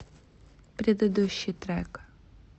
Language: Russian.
предыдущий трек